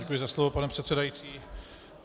Děkuji za slovo, pane předsedající.